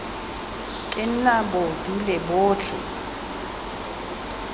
ke nna bo dule botlhe